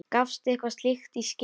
Gafstu eitthvað slíkt í skyn?